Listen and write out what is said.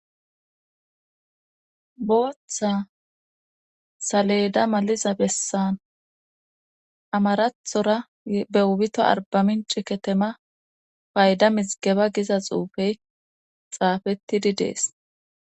Booththa saleda maliza bessan amarathora beubito arbamin ciketema payda misgeba giza xuufey xaafettidi dees